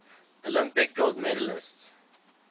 olympic gold medalists